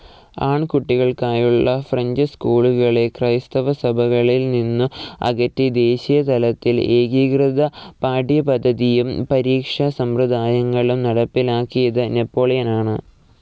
ആൺകുട്ടികൾക്കായുള്ള French സ്‌കൂളുകളെ ക്രൈസ്തവസഭകളിൽ നിന്നു അകറ്റി ദേശീയതലത്തിൽ ഏകീകൃത പാഠ്യപദ്ധതിയും പരീക്ഷാസമ്പ്രദായങ്ങളും നടപ്പിലാക്കിയത് നെപ്പോളിയനാണ്.